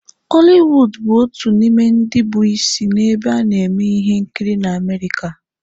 Holiwuud bụ otu n'ime ndi bụ isi nebe a neme ihe nkiri na Amerika.